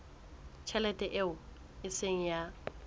tjhelete eo e seng ya